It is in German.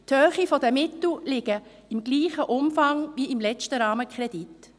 Die Höhe der Mittel liegt im gleichen Umfang wie beim letzten Rahmenkredit.